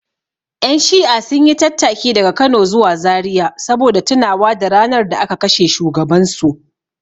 Ƴan shi'a sun yi tattaki daga Kano zuwa Zariya saboda tunawa da ranar da aka kashe shugabansu.